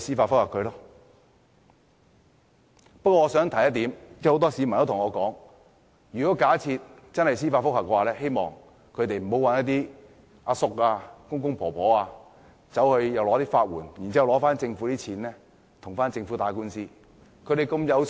不過，我想提出一點，很多市民對我說，假設真的有人提出司法覆核，希望他們不要找一些大叔、公公或婆婆申請法律援助，用政府的錢跟政府打官司。